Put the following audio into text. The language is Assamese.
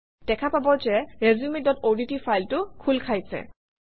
দেখা পাব যে resumeঅডট ফাইলটো খোল খাইছে